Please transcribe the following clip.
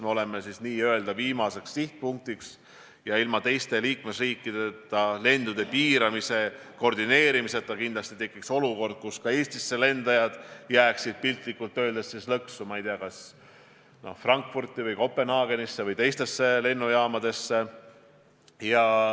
Me oleme n-ö viimane sihtpunkt ja ilma teiste liikmesriikideta lendude piiramist koordineerimata kindlasti tekiks olukord, kus ka Eestisse lendajad jääksid piltlikult öeldes lõksu näiteks Frankfurti või Kopenhaagenisse või teistesse lennujaamadesse.